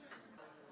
Bilməlisən ki, sən.